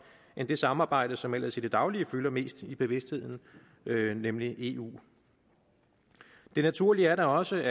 end det samarbejde som ellers i det daglige fylder mest i bevidstheden nemlig eu det naturlige er da også